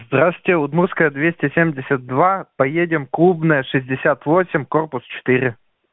здравствуйте удмуртская двести семьдесят два поедем клубная шестьдесят восемь корпус четыре